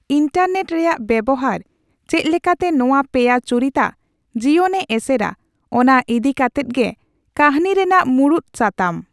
Internet ᱨᱮᱭᱟᱜ ᱵᱮᱣᱦᱟᱨ ᱪᱮᱫ ᱞᱮᱠᱟᱛᱮ ᱱᱚᱣᱟ ᱯᱮᱭᱟ ᱪᱩᱨᱤᱛᱟᱜ ᱡᱤᱭᱚᱱᱮ ᱮᱥᱮᱨᱟ ᱚᱱᱟ ᱤᱫᱤ ᱠᱟᱛᱮᱫ ᱜᱮ ᱠᱟᱹᱦᱚᱱᱤ ᱨᱮᱱᱟᱜ ᱢᱩᱬᱩᱫ ᱥᱟᱛᱟᱢ ᱾